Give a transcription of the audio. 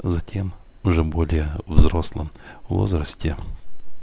затем уже более взрослом возрасте